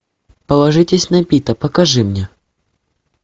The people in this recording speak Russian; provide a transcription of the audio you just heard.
положитесь на пита покажи мне